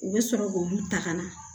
U bɛ sɔrɔ k'olu ta ka na